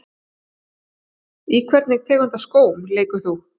Í hvernig tegund af skóm leikur þú?